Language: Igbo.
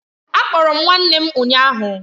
A kpọrọ m nwanne m ụnyahụ